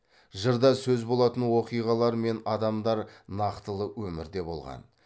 жырда сөз болатын оқиғалар мен адамдар нактылы өмірде болған